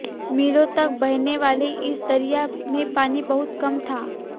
मीलों तक बहने वाले इस दरिया में पानी बहुत कम था